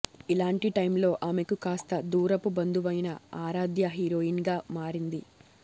ఇలాంటి టైమ్ లో ఆమెకు కాస్త దూరపు బంధువైన ఆరాధ్య హీరోయిన్ గా మారింది